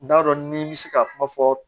N t'a dɔn n ni n bɛ se ka kuma fɔ